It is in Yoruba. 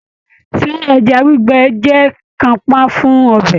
Ṣé ẹja gbígbẹ jẹ kanpa fún ọbẹ?